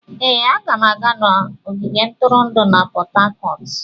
Ee, aga m aga ogige ntụrụndụ na Port Harcourt.